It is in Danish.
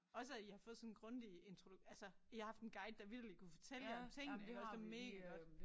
Også at I har fået sådan en grundig intro altså I har haft en guide der vitterligt kunne fortælle jer om tingene iggås det megagodt